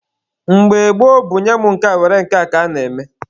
Mgbe gboo bụ nye mụ nke a were nke a ka a na-eme.